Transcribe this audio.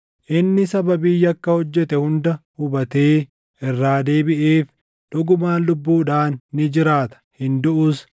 Inni sababii yakka hojjete hunda hubatee irraa deebiʼeef dhugumaan lubbuudhaan ni jiraata; hin duʼus.